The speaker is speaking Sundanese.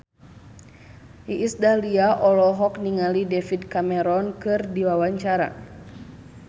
Iis Dahlia olohok ningali David Cameron keur diwawancara